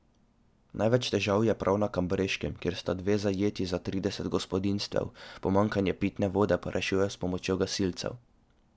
Največ težav je prav na Kambreškem, kjer sta dve zajetji za trideset gospodinjstev, pomanjkanje pitne vode pa rešujejo s pomočjo gasilcev.